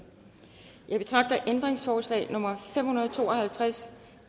jeg betragter ændringsforslag nummer fem hundrede og to og halvtreds